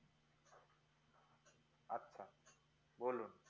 বোলো